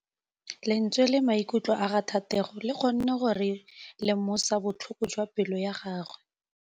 Lentswe la maikutlo a Thategô le kgonne gore re lemosa botlhoko jwa pelô ya gagwe.